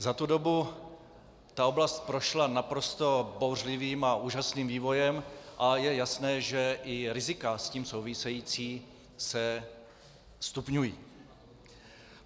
Za tu dobu ta oblast prošla naprosto bouřlivým a úžasným vývojem a je jasné, že i rizika s tím související se stupňují.